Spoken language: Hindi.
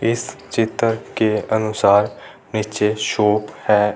इस चित्र के अनुसार नीचे शॉप है।